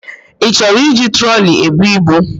Ị chọrọ iji troli ebu ibu?